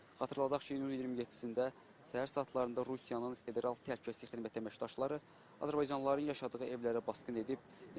Xatırladaq ki, iyunun 27-də səhər saatlarında Rusiyanın federal təhlükəsizlik xidmətinin əməkdaşları azərbaycanlıların yaşadığı evlərə basqın edib.